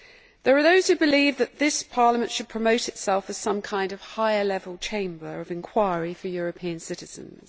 There are those who believe that this Parliament should promote itself as some kind of higher level chamber of inquiry for European citizens.